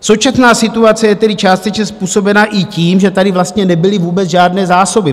Současná situace je tedy částečně způsobena i tím, že tady vlastně nebyly vůbec žádné zásoby.